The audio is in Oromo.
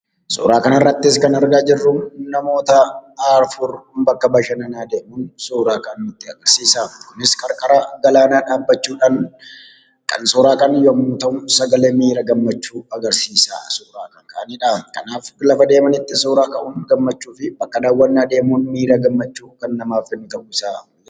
Suuraa kana irratti kan argaa jirru namoota afur bakka bashannanaa deemuun suuraa ka'an nutti agarsiisa. Kunis qarqara galaanaa dhaabachudhaan kan suuraa ka'an yemmuu ta'u, sagalee miira gammachuu agarsiisa suura kan ka'aadha. Kanaaf gara deemanitti suura ka'uun gammachuufi bakka daawwannaa deemuun miira gammachuu kan namaaf kennu ta'uusaa ibsa.